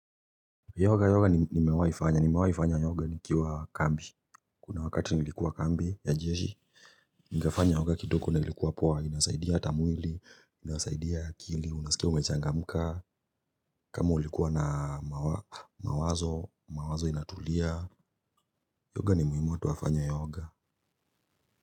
Yoga nimewaifanya. Nimewaifanya yoga nikiwa kambi. Kuna wakati nilikuwa kambi ya jeshi, nikafanya yoga kidoko ni ilikuwa poa. Inasaidia ata mwili, inasaidia akili, unasikia umechangamuka, kama ulikuwa na mawazo, mawazo inatulia. Yoga ni muhimu watu wafanye yoga.